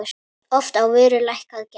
Oft á vöru lækkað gjald.